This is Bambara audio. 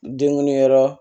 Denguli yɔrɔ